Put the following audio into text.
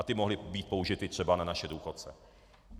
A ty mohly být použity třeba na naše důchodce.